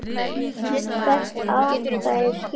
Hvert atkvæði skiptir máli.